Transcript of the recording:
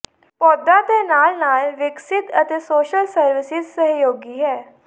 ਪੌਦਾ ਤੇ ਨਾਲ ਨਾਲ ਵਿਕਸਿਤ ਅਤੇ ਸੋਸ਼ਲ ਸਰਵਿਸਿਜ਼ ਸਹਿਯੋਗੀ ਹੈ